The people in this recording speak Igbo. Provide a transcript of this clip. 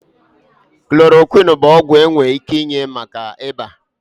Klorokwini bụ ọgwụ enwere ike inye maka ịba.